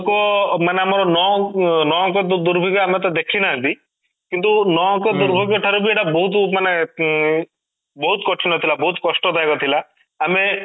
ଲୋକ ମାନେ ଆମର ନ ନ'ଅଙ୍କ ଦୁର୍ଭିକ୍ଷ ଆମେ ଦେଖିନାହାନ୍ତି କିନ୍ତୁ ନ'ଅଙ୍କ ଦୁର୍ଭିକ୍ଷ ଠାରୁ ମାନେ ଏଇଟା ବହୁତ ମାନେ ଉଁ ବହୁତ କଠିନ ଥିଲା ବହୁତ କଷ୍ଟଦାୟକ ଥିଲା ଆମେ